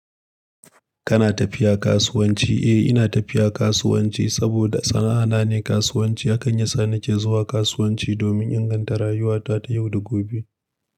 Kana tafiya kasuwanci? Eh, ina tafiya kasuwanci saboda sana'a na ne kasuwanci. Hakan yasa nake zuwa kasuwanci domin inganta rayuwata ta yau da gobe.